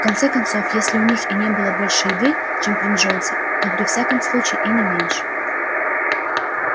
в конце концов если у них и не было больше еды чем при джонсе то при всяком случае и не меньше